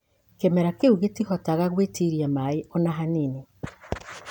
Kĩmera kĩu gĩtihotaga gwĩtiria maĩ o na hanini